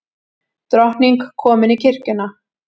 Drottning komin í kirkjuna